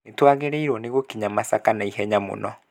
Nĩtwagĩrĩirwo nĩ gũkinya Masaka na ihenya mũno